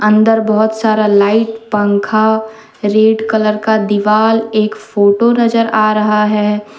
अंदर बहोत सारा लाइट पंखा रेड कलर का दिवाल एक फोटो नजर आ रहा है।